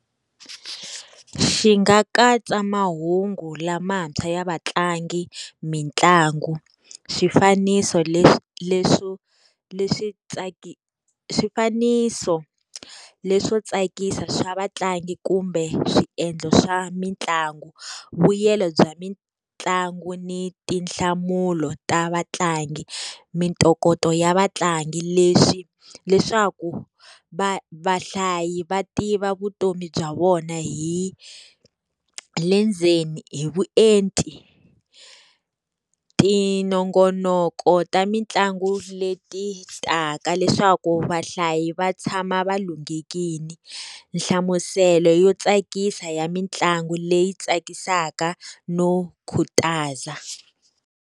Xi nga katsa mahungu lamantshwa ya vatlangi, mitlangu. Swifaniso leswo leswi swifaniso leswo tsakisa swa vatlangi kumbe swiendlo swa mitlangu. Vuyelo bya mitlangu ni tinhlamulo ta vatlangi, mintokoto ya vatlangi. Leswi leswaku vahlayi va tiva vutomi bya vona hi le ndzeni hi vuenti. Minongonoko ta mitlangu leti taka leswaku vahlayi va tshama va lunghekile, nhlamuselo yo tsakisa ya mitlangu leyi tsakisaka no khutaza.